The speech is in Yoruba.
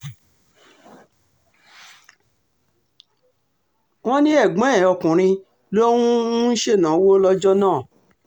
wọ́n ní ẹ̀gbọ́n ẹ̀ ọkùnrin ló um ń ṣènáwó lọ́jọ́ náà